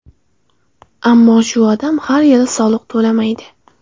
Ammo shu odam har yili soliq to‘laydi.